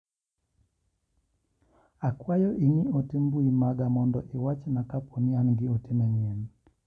Akwayo ing'i ote mbui maga mondo iwach na kaponi an gi ote manyien.